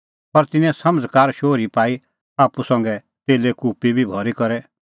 पर तिन्नैं समझ़कार शोहरी पाई आप्पू संघै तेले कुप्पी बी भरी करै